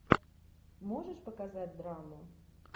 можешь показать драму